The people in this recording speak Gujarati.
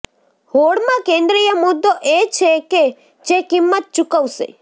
હોડમાં કેન્દ્રિય મુદ્દો એ છે કે જે કિંમત ચૂકવશે